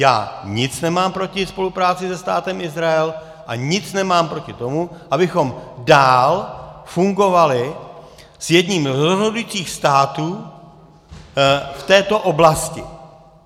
Já nic nemám proti spolupráci se Státem Izrael a nic nemám proti tomu, abychom dál fungovali s jedním z rozhodujících států v této oblasti.